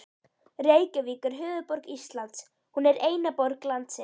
Reykjavík er höfuðborg Íslands. Hún er eina borg landsins.